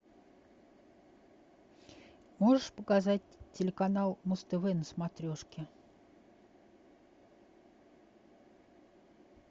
можешь показать телеканал муз тв на смотрешке